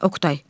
Oqtay.